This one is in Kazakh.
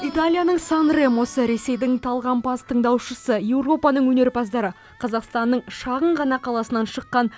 италияның сан ремосы ресейдің талғампаз тыңдаушысы еуропаның өнерпаздары қазақстанның шағын ғана қаласынан шыққан